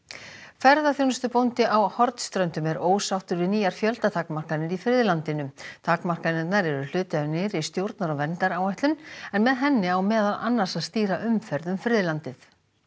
ferðaþjónustubóndi á Hornströndum er ósáttur við nýjar fjöldatakmarkanir í friðlandinu takmarkanirnar eru hluti af nýrri stjórnar og verndaráætlun en með henni á meðal annars að stýra umferð um friðlandið